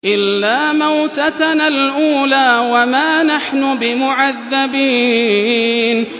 إِلَّا مَوْتَتَنَا الْأُولَىٰ وَمَا نَحْنُ بِمُعَذَّبِينَ